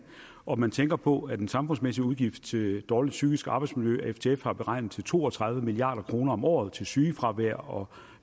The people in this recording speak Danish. og når man tænker på at den samfundsmæssige udgift til dårligt psykisk arbejdsmiljø af ftf er beregnet til to og tredive milliard kroner om året til sygefravær og